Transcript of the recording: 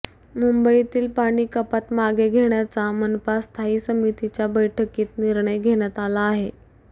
मुंबईतील पाणीकपात मागे घेण्याचा मनपा स्थायी समितीच्या बैठकीत निर्णय घेण्यात आला आहे